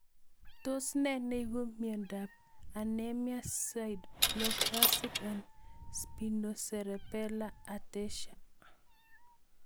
Tos nee neiparu miondop Anemia sideroblastic and spinocerebellar ataxia?